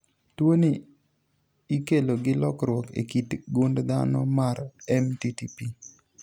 tuoni ikelo gi lokruok e kit gund dhano mar MTTP